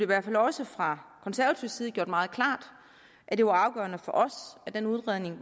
hvert fald også fra konservativ side gjort meget klart at det var afgørende for os at den udredning